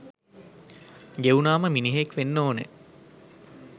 ගෙවුනාම මිනිහෙක් වෙන්න ඕනෙ